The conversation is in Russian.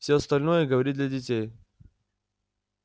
все остальное говорит для детей